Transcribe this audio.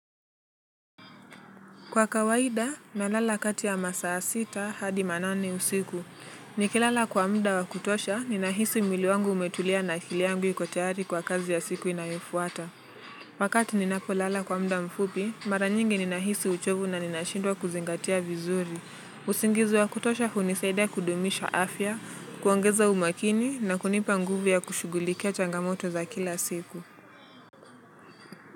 Kwa kawaida, nalala kati ya masaa sita hadi manane usiku. Nikilala kwa mda wa kutosha, ninahisi mwili wangu umetulia na akili yangu iko tayari kwa kazi ya siku inayofuata. Wakati ninapolala kwa mda mfupi, mara nyingi ninahisi uchovu na ninashindwa kuzingatia vizuri. Usingizu wa kutosha hunisaida kudumisha afya, kuongeza umakini na kunipa nguvu ya kushugulikia changamoto za kila siku.